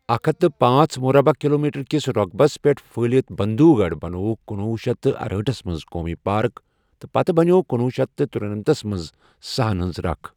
اکھ ہتھ تہٕ پانٛژ مربعہ کِلومیٖٹر کِس رۄقبس پٮ۪ٹھ پھٕہلِتھ بنٛدھوگڑھ بَنووُکھ کُنوُہ شیٚتھ ارہٲٹھس منٛز قومی پارک تہٕ پتہٕ بنِیٛوو کُنوُہ شیٚتھ ترٛنمتس منٛز سہن ہنز ركھ ۔